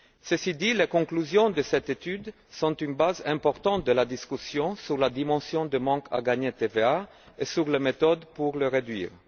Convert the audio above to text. Ceci dit, les conclusions de cette étude sont une base importante de la discussion sur la dimension du manque à gagner sur la TVA et sur les méthodes pour le réduire.